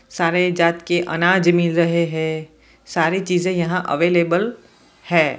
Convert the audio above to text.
सारे जात के अनाज मिल रहे हैं सारी चीज यहां अवेलेबल है।